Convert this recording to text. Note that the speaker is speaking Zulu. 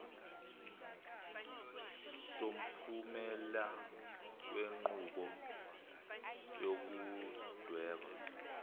somphumela wenqubo yokudweba